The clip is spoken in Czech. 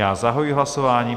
Já zahajuji hlasování.